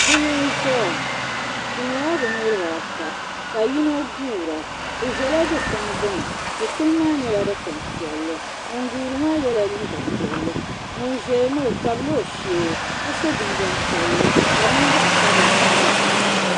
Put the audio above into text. Bihi n-ʒeya bɛ nyɛla bɛ niriba ata Ka yino guura bɛ ʒela dukpuni gbuni dukpuni maa nyɛla dukpuni piɛlli ŋun guuri maa yela liiga piɛlli ŋun ʒeya maa o tabila o shee Ka so jinjam piɛlli Ka di niŋ zaɣ'sabila sabila.